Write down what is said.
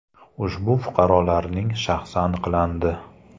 Ushbu fuqarolarning shaxsi aniqlandi.